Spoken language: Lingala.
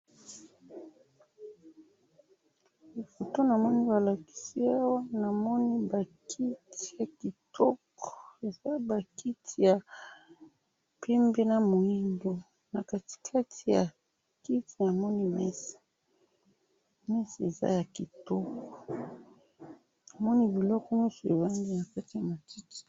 Photo namoni balakisi awa namoni ba kiti ya kitoko ,eza ba kiti ya pembe na muindo na kati kati ya kiti namoni mesa ,mesa eza ya kitoko namoni biloko nionso evandi na matiti